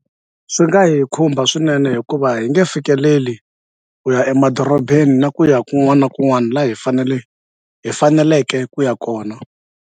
Swi nga hi khumba swinene hikuva hi nge fikeleli ku ya emadorobeni na ku ya kun'wana na kun'wana la hi fanele hi faneleke ku ya kona.